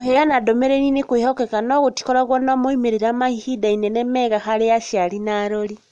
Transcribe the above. Kũheana ndũmĩrĩri nĩ kwĩhokeka no gũtikoragwo na moimĩrĩro maihinda inene mega harĩ aciari na arori.